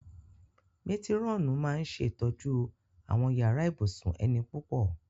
Métírọ̀nù máa ń ṣe ìtọ́jú àwọn yàrá ibùsùn ẹni púpọ̀